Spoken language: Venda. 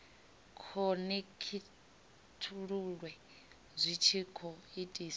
khonekhithululwe zwi tshi khou itiswa